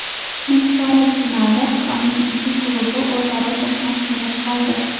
Nimchorak finalda Xitoyning ikki klubi o‘zaro to‘qnash kelib qoldi.